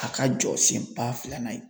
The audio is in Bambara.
A ka jɔsenba filanan ye.